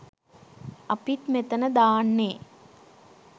අපිත් මෙතන දාන්නේ